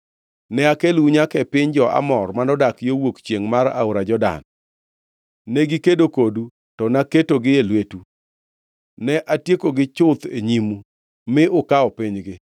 “ ‘Ne akelou nyaka e piny jo-Amor manodak yo wuok chiengʼ mar aora Jordan. Negikedo kodu, to naketogi e lwetu. Ne atiekogi chuth e nyimu, mi ukawo pinygi.